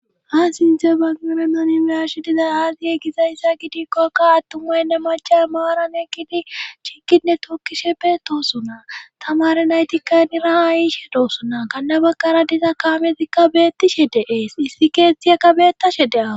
Ha sinze bagmamena niersidizay haasiye gizayssa gidikkokka attummaynne macha maaran egidi chinkinne tokkishe beettosuna tamare naytikkanira ha ishe doosuna kanna baqara disa kaametikka beettishe deees issi keetti ekabeetashe dea.